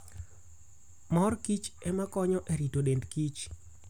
Mor kich ema konyo e rito dend kich.